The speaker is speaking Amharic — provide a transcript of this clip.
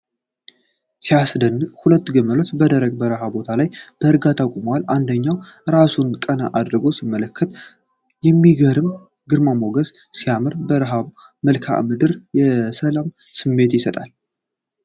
ሲያስደንቅ! ሁለት ግመሎች! በደረቅና በረሃማ ቦታ ላይ በእርጋታ ቆመዋል። አንደኛው ራሱን ቀና አድርጎ ሲመለከት፣ የሚገርም ግርማ ሞገስ! ሲያምር! በረሃማው መልክዓ ምድር የሰላም ስሜት ይሰጣል!